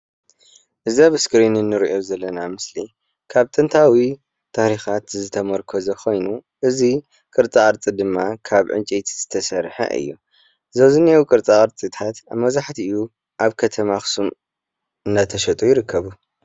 እዚ ኣብ እስክሬን እንሪኦ ዘለና ምስሊ ካብ ጥንታዊ ታሪካት ዝተሞርኮሰ ኮይኑ እዚ ቅርፃቅርፂ ድማ ካብ ዕንጨይቲ ዝተሰርሐ እዩ። እዚ ኣብዚ ዝንሂዎ ቅርፃቅርፅታት መብዛሕተኡ ኣብ ከተማ ኣክሱም እናተሸጡ ይርከቡ።